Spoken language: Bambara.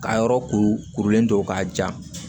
Ka yɔrɔ kuru kurulen don k'a ja